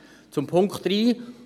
Zu Punkt 3: